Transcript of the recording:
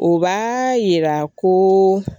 O b'a yira ko